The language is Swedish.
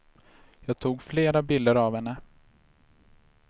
Jag tog flera bilder av henne.